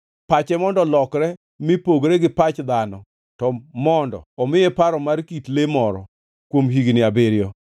Pache mondo olokre mi pogre gi pach dhano, to mondo omiye paro mar kit le moro, kuom higni abiriyo.